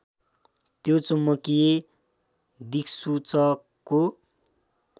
यो चुम्बकीय दिक्सूचकको